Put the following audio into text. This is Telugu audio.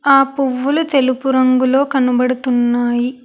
ఆ పువ్వులు తెలుపు రంగులో కనబడుతున్నాయి.